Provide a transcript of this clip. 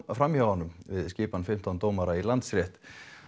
fram hjá honum við skipan fimmtán dómara í Landsrétt